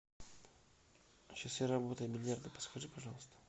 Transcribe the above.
часы работы бильярда подскажи пожалуйста